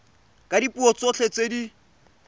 ka dipuo tsotlhe tse di